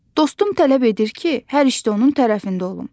Dostum tələb edir ki, hər işdə onun tərəfində olum.